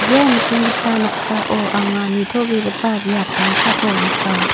ia nikenggipa noksao anga nitobegipa biap damsako nika.